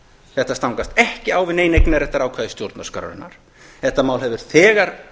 þetta stangast ekki á við nein eignarréttarákvæði stjórnarskrárinnar þetta mál hefur þegar